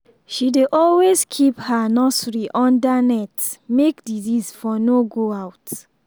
she dey always keep her nursery under net make disease for no go out